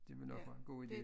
Det vil nok være en god idé